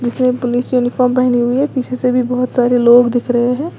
कुछ ने पुलिस वाली यूनिफार्म पहनी हुई है पीछे से भी बहुत सारे लोग दिख रहे हैं।